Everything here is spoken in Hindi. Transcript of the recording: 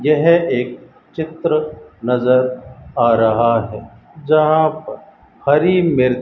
यह एक चित्र नजर आ रहा है जहां पर हरी मिर --